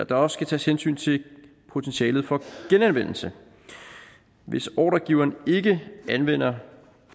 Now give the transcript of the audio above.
der også skal tages hensyn til potentialet for genanvendelse hvis ordregiveren ikke anvender